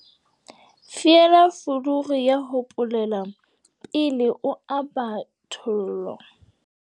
Fiela fuluru ya ho polela pele o aba thollo.